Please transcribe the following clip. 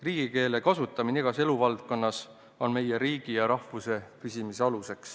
Riigikeele kasutamine igas eluvaldkonnas on meie riigi ja rahvuse püsimise alus.